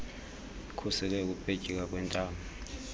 ikhusele ukupetyeka kwentamo